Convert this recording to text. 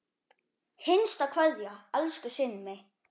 HINSTA KVEÐJA Elsku Simmi.